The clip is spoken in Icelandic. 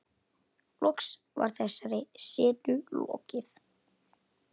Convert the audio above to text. Loks var þessari setu lokið.